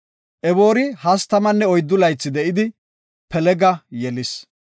Eboori 34 laythi de7idi, Pelega yelis.